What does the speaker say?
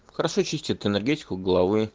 хорошо чистит энергетиков головы